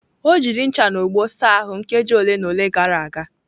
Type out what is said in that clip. O jiri ncha na ogbo saa ahụ nkeji ole na ole gara aga.